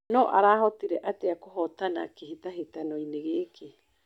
No arahotire atĩa kũhotana kĩhĩtahĩtanoinĩ gĩkĩ.